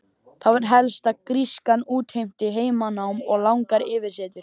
Það var helst að grískan útheimti heimanám og langar yfirsetur.